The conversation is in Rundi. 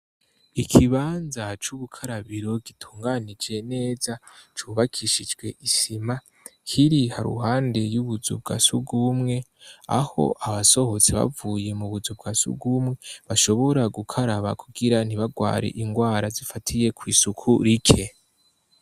Ikibanza c'ubukarabiro gitunganije neza cubakishijwe isima kiri haruwande y'ubuzu bwa sugumwe aho abasohotse bavuye mu buzu bwa sugumwe bashobora gukaraba kugira ntibarware ingwara zifatiye kw'isuku rike.